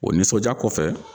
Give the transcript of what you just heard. O nisɔndiya kɔfɛ.